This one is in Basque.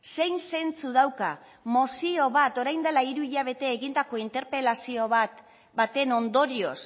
zein zentzu dauka mozio bat orain dela hiru hilabete egindako interpelazio baten ondorioz